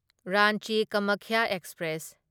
Ranchi Kamakhya express